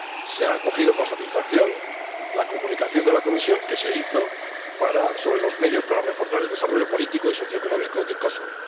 se ha acogido con satisfacción la Comunicación de la Comisión sobre los medios para reforzar el desarrollo político y socieconómico de Kosovo.